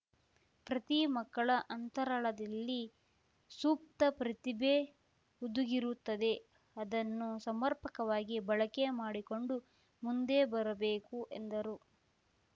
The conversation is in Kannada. ಪ್ರತಿ ಮಕ್ಕಳ ಅಂತರಾಳದಲ್ಲಿ ಸೂಪ್ತ ಪ್ರತಿಭೆ ಹುದುಗಿರುತ್ತದೆ ಅದನ್ನು ಸಮರ್ಪಕವಾಗಿ ಬಳಕೆ ಮಾಡಿಕೊಂಡು ಮುಂದೆ ಬರಬೇಕು ಎಂದರು